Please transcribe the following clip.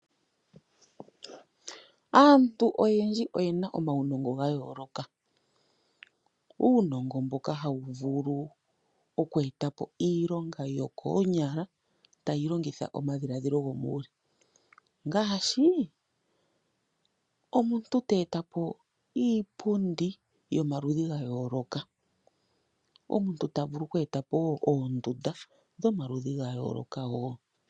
Aantu oyendji oye na omaunongo ga yooloka. Uunongo mboka hawu vulu oku eta po iilonga yokoonyala tayi longitha omadhiladhilo gomuuluyi ngaashi omuntu te eta po iipundi yomaludhi ga yooloka, omuntu ta vulu oku eta po wo oondunda dhomaludhi ga yooloka wo.